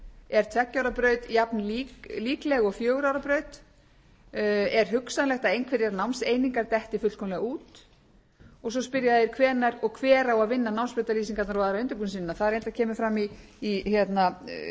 er tveggja ára braut jafn líkleg og fjögurra ára braut er hugsanlegt að einhverjar námseiningar detti fullkomlega út og svo spyrja þeir hvenær og hver eigi að vinna námsbrautalýsingarnar og aðra undirbúningsvinnu það reyna kemur fram í skýringum með frumvarpinu að